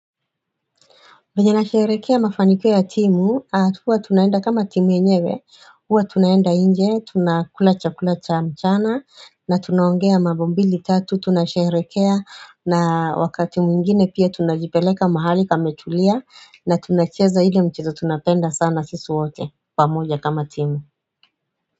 Mwenye anasherehekea mafanikio ya timu, huwa tunaenda kama timu yenyewe, huwa tunaenda inje, tunakula chakula cha mchana, na tunaongea mambo mbili tatu, tunasherehekea, na wakati mwingine pia tunajipeleka mahali pametulia, na tunacheza ile michezo tunapenda sana sisi wote, pamoja kama timu.